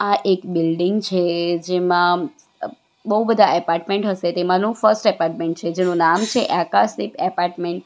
આ એક બિલ્ડીંગ છે જેમાં બૌ બધા એપાર્ટમેન્ટ હસે તેમાંનું ફર્સ્ટ એપાર્ટમેન્ટ છે જેનું નામ છે આકાશદીપ એપાર્ટમેન્ટ .